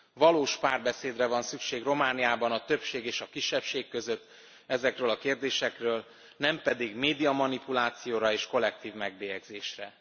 Valós párbeszédre van szükség Romániában a többség és kisebbség között ezekről a kérdésekről, nem pedig médiamanipulációra és kollektív megbélyegzésre.